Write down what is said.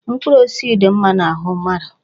Mkpụrụ osisi dị mma n'ahụ mmadụ.